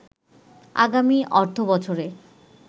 আগামী অর্থবছরে